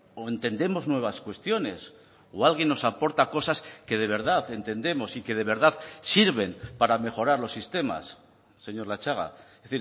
o entendemos nuevas cuestiones o alguien nos aporta cosas que de verdad entendemos y que de verdad sirven para mejorar los sistemas señor latxaga es